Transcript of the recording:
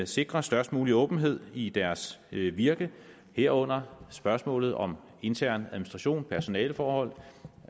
sikre størst mulig åbenhed i deres virke herunder spørgsmålet om intern administration personaleforhold